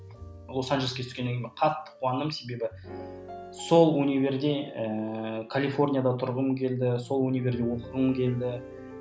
лос анжелеске түскеннен кейін мен қатты қуандым себебі сол универде ыыы калифорнияда тұрғым келді сол универде оқығым келді